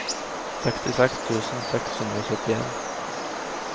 sekstiseks tusen seks hundre og syttien